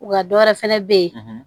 Wa dɔ wɛrɛ fɛnɛ bɛ yen